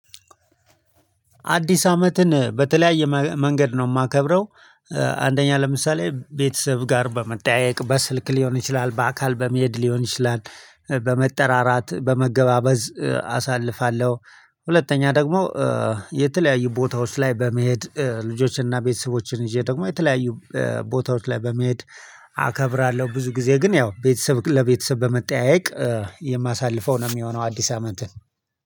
አዲስ አመትን በተለያየ መንገድ ነው የማከብረው። አንደኛ ለምሳሌ ቤተሰብ ጋር በመጠያየቅ በስልክ ሊሆን ይችላል በአካል በመሄድ ሊሆን ይችላል። በመጠራራት በመገባበዝ አሳልፋለሁ። ሁለተኛ ደግሞ የተለያዩ ቦታዎች ላይ በመሄድ ልጆችንና ቤተሰቦችን ይዤ ደግሞ የተለያዩ ቦታዎች ላይ በመሄድ አከብራለሁ። ብዙ ጊዜ ግን ያው ቤተሰብ ለቤተሰብ በመጠያየቅ የማሳልፈው ነው የሚሆነው። አዲስ አመትን